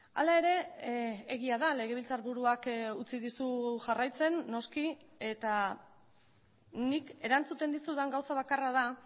hala ere egia da legebiltzarburuak utzi dizu jarraitzen noski eta nik erantzuten dizudan gauza bakarra da